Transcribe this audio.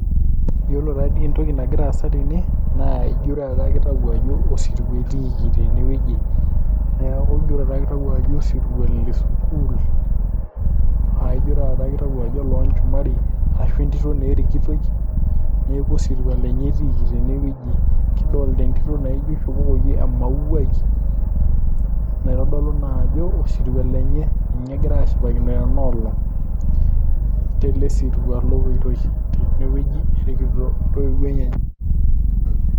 Iyiolo taa dii entoki nagira aasa tene naa ijo taata kitau ajo osirua etiiki tene wueji, neeku ijo taata kitau ajo osirua le sukuul. Aa ijo taata itau ajo ololchumari ashu etito naa erikitoi, neeku osiruua lenye etiiki tene wueji. Kidolta entito naijo ishopokoki emauai naitodolu naa ajo osirua lenye, nye egirai ashipakino tena olong' tele sirua lopoitoi tene wueji erikito ntoiwo enyenyek.